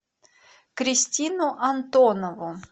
кристину антонову